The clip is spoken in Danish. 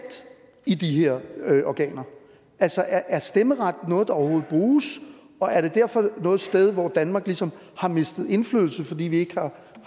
i de her organer altså er stemmeret noget der overhovedet bruges og er der derfor noget sted hvor danmark ligesom har mistet indflydelse fordi vi ikke